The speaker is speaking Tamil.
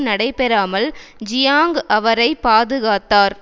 நடைபெறாமல் ஜியாங் அவரை பாதுகாத்தார்